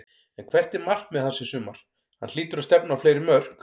En hvert er markmið hans í sumar, hann hlýtur að stefna á fleiri mörk?